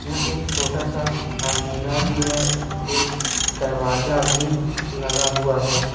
यहाँ एक छोटा सा अलमीरा भी है एक दरवाजा भी लगा हुआ है।